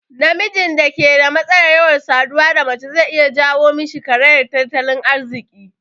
Namijin da ke da matsalar yawan saduwa da mace zai iya jawo mishi karayan tattalin arziki